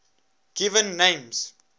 given names